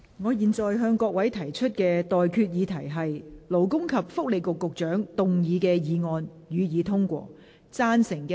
我現在向各位提出的待決議題是：勞工及福利局局長動議的議案，予以通過。